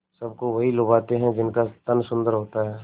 सबको वही लुभाते हैं जिनका तन सुंदर होता है